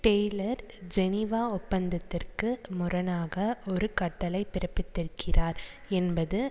Taylor Geneva ஒப்பந்தத்திற்கு முரணாக ஒரு கட்டளை பிறப்பித்திருக்கிறார் என்பது